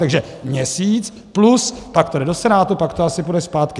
Takže měsíc, plus pak to jde do Senátu, pak to asi půjde zpátky.